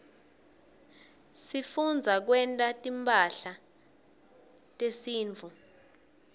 sifundza kwenta timphahla tesintfu